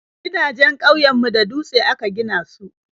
Gidajen ƙauyen mu da dutse aka gina su